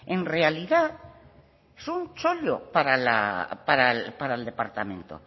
en realidad es un chollo para el departamento